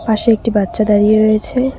পাশে একটি বাচ্চা দাঁড়িয়ে রয়েছে।